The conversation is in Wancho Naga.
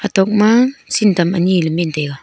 tok ma sintam anyi ley men taega.